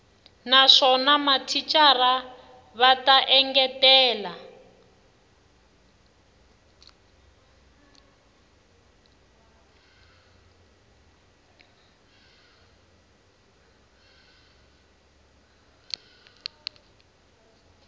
naswona mathicara va ta engetela